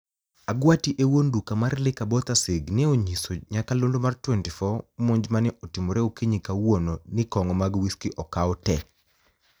Agwati e wuoni duka mar Liguor Bothasig ni e oniyiso niyakalonido mar 24 monij mani e otimore okiniyi kawuono nii konigo mag whisky okaw te.